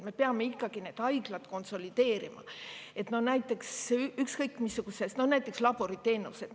Me peame need haiglad konsolideerima, ükskõik missugused teenused, kas või laboriteenused.